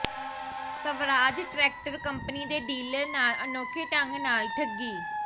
Swaraj tractor company ਦੇ dealer ਨਾਲ ਅਨੋਖੇ ਢੰਗ ਨਾਲ ਠੱਗੀ